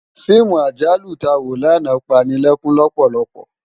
Fiimú àjálú tá wó làná pá ni lèkún lòpòlòpò